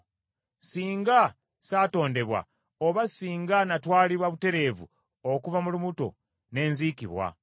Singa satondebwa, oba singa natwalibwa butereevu okuva mu lubuto ne nzikibwa.